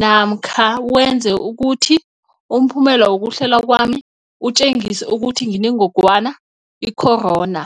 namkha wenze ukuthi umphumela wokuhlolwa kwami utjengise ukuthi nginengogwana i-corona?